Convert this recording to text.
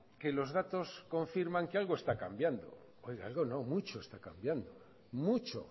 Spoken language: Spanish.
que los datos confirman que algo está cambiando oiga algo no mucho está cambiando mucho